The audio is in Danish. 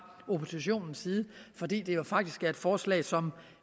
oppositionens side fordi det jo faktisk er et forslag som